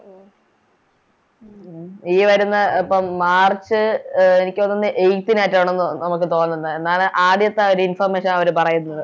ഈ വരുന്ന അപ്പോം March അഹ് എനിക്ക് തോന്നുന്നു Eighth നാറ്റണെന്ന് നമുക്ക് തോന്നുന്നെ എന്നാണ് ആദ്യത്തെ ഒരു Information അവര് പറയുന്നത്